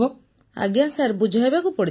ପୁନମ ନୌଟିଆଲ୍ ଆଜ୍ଞା ବୁଝାଇବାକୁ ପଡ଼ିଥିଲା